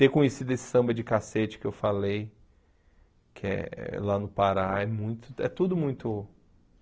Ter conhecido esse samba de cacete que eu falei, que é lá no Pará, é muito é tudo muito...